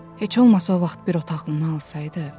Heç olmasa o vaxt bir otaq alsaydı.